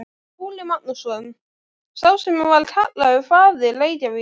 Skúli Magnússon, sá sem var kallaður faðir Reykjavíkur.